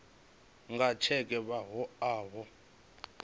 nga tsheke vha o vha